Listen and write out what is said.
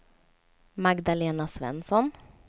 Magdalena Svensson